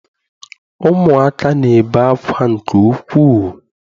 Ụmụaka na-ebe akwa nke ukwuu.